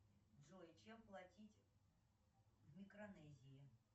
джой чем платить в микронезии